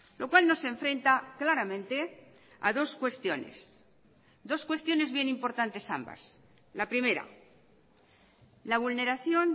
lo cual nos enfrenta claramente a dos cuestiones dos cuestiones bien importantes ambas la primera la vulneración